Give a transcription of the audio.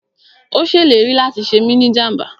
Ó ṣèlérí láti ṣe mí ni jàmbá